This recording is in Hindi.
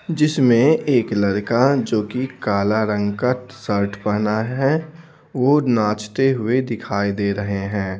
जिसमें एक लड़का जो कि काला रंग का शर्ट पहना है वह नाचते हुए दिखाई दे रहे हैं।